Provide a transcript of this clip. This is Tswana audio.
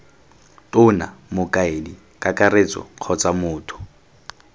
tona mokaedi kakaretso kgotsa motho